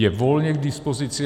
Je volně k dispozici.